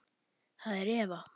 Það er Eva.